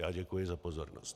Já děkuji za pozornost.